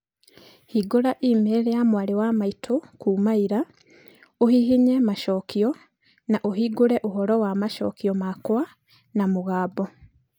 Hingũra e-mail ya mwarĩ wa maitũ kuuma ira, ũhihinye macokio, na ũhingũre ũhoro wa macokio makwa na mũgambo